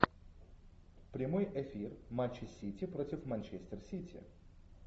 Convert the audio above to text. прямой эфир матча сити против манчестер сити